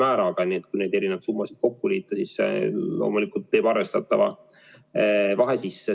Aga kui need erinevad summa kokku liita, siis loomulikult teeb arvestatava vahe sisse.